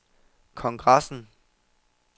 kongressen